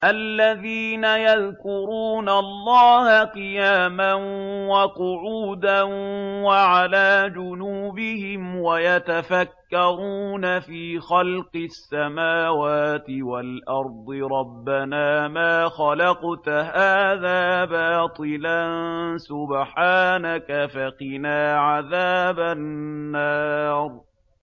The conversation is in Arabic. الَّذِينَ يَذْكُرُونَ اللَّهَ قِيَامًا وَقُعُودًا وَعَلَىٰ جُنُوبِهِمْ وَيَتَفَكَّرُونَ فِي خَلْقِ السَّمَاوَاتِ وَالْأَرْضِ رَبَّنَا مَا خَلَقْتَ هَٰذَا بَاطِلًا سُبْحَانَكَ فَقِنَا عَذَابَ النَّارِ